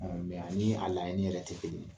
a ni a laɲini yɛrɛ te kelen ye.